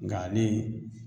Nga ale